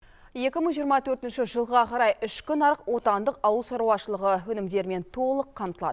екі мың жиырма төртінші жылға қарай ішкі нарық отандық ауыл шаруашылығы өнімдерімен толық қамтылады